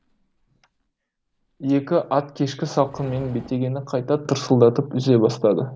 екі ат кешкі салқынмен бетегені қайта тырсылдатып үзе бастады